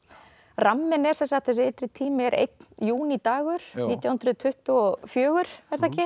ramminn er þessi ytri tími er einn nítján hundruð tuttugu og fjögur